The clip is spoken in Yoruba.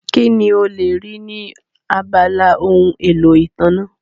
Kí ni o lè rí ní abala ohun èlò ìtànná?